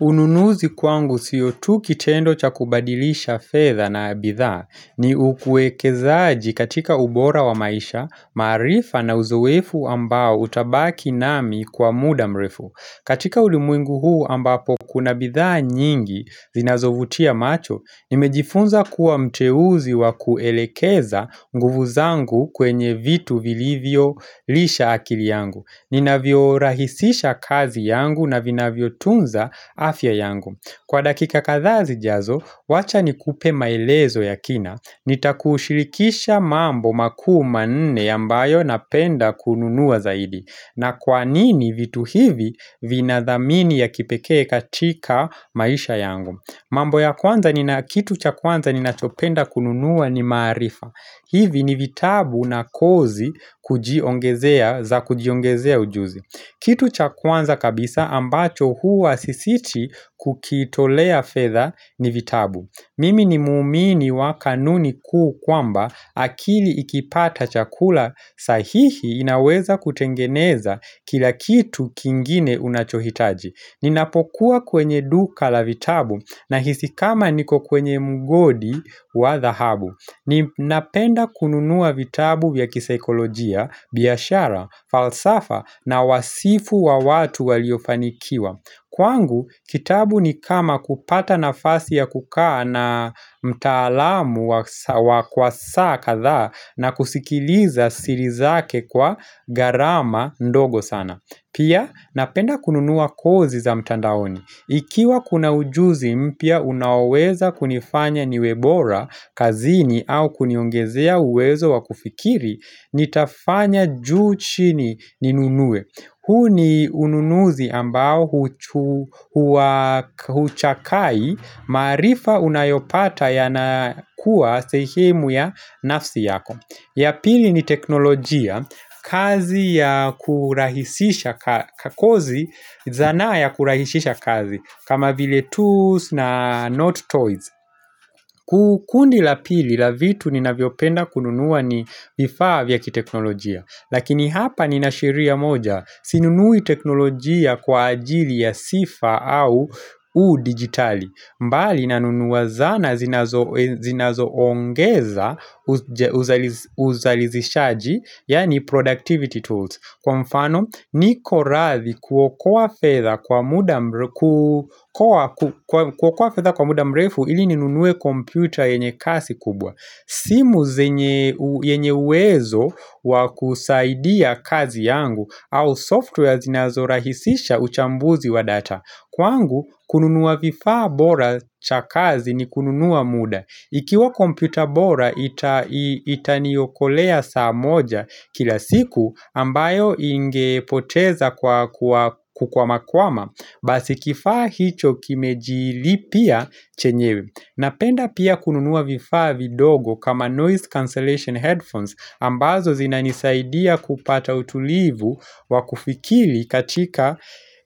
Ununuzi kwangu sio tu kitendo cha kubadilisha fedha na bithaa ni ukuekezaaji katika ubora wa maisha, maarifa na uzoefu ambao utabaki nami kwa muda mrefu. Katika ulimwengu huu ambapo kuna bitha nyingi zinazovutia macho, nimejifunza kuwa mteuzi wa kuelekeza nguvu zangu kwenye vitu vilivyo lisha akili yangu. Ninavyo rahisisha kazi yangu na vinavyo tunza afya yangu Kwa dakika kadhaa zijazo, wacha nikupe maelezo ya kina Nitakushirikisha mambo maku manne ambayo napenda kununua zaidi na kwanini vitu hivi vina dhamini ya kipeke katika maisha yangu mambo ya kwanza ni na kitu cha kwanza ni nachopenda kununua ni maarifa hivi ni vitabu na kozi kujiongezea za kujiongezea ujuzi kitu cha kwanza kabisa ambacho huwa sisiti kukitolea fedha ni vitabu Mimi ni muumini wa kanuni kuu kwamba akili ikipata chakula sahihi inaweza kutengeneza kila kitu kingine unachohitaji Ninapokuwa kwenye duka la vitabu nahisi kama niko kwenye mgodi wa dhahabu Ninapenda kununua vitabu ya kisikolojia, biashara, falsafa na wasifu wa watu waliofanikiwa Kwangu, kitabu ni kama kupata nafasi ya kukaa na mtaalamu wa kwa kadha na kusikiliza siri zake kwa gharama ndogo sana Pia, napenda kununua kozi za mtandaoni Ikiwa kuna ujuzi mpya unaweza kunifanya niwebora kazini au kuniongezea uwezo wa kufikiri, nitafanya juu chini ninunue. Huu ni ununuzi ambao huchakai maarifa unayopata yanakuwa sehemu ya nafasi yako. Ya pili ni teknolojia kazi ya kurahisisha kakozi zana ya kurahisisha kazi kama vile tools na not toys kundi la pili la vitu ninavyopenda kununua ni vifaa vya kiteknolojia Lakini hapa nina sheria moja sinunui teknolojia kwa ajili ya sifa au u digitali mbali nanunuwa zana zinazo zinazoongeza uzalizishaji Yani productivity tools Kwa mfano niko radhi kuokoa fedha kwa muda mrefu Ili ninunuwa computer yenye kasi kubwa simu zenye uwezo wa kusaidia kazi yangu au software zinazo rahisisha uchambuzi wa data Kwangu, kununua vifaa bora chakazi ni kununua muda. Ikiwa komputa bora, itaniyokolea saa moja kila siku ambayo ingepoteza kwa kukwamakwama. Basi kifaa hicho kimejilipia chenyewe. Napenda pia kununua vifava vidogo kama noise cancellation headphones ambazo zinanisaidia kupata utulivu wa kufikiri katika